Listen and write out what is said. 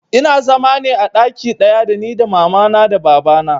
Ina zama ne a ɗaki ɗaya da ni da mama na da baba na